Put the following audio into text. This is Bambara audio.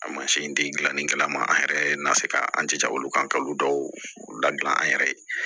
A mansin tɛ gilannikɛla ma an yɛrɛ ye na se ka an jija olu kan ka olu dɔw ladilan an yɛrɛ ye